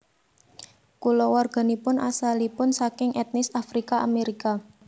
Kulawarganipun asalipun saking etnis Afrika Amerika